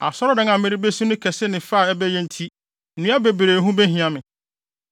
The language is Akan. Asɔredan a merebesi no kɛse ne ne fɛ a ɛbɛyɛ nti, nnua bebree ho behia me.